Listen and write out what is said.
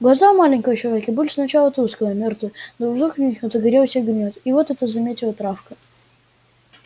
глаза у маленького человека были сначала тусклые мёртвые но вдруг в них загорелся огонёк и вот это заметила травка